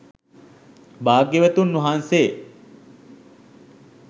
භාග්‍යවතුන් වහන්සේ